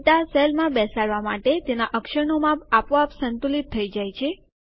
data સેલમાં બેસાડવા માટે તેના અક્ષરનું માપ આપોઆપ સંતુલિત થઇ જાય છે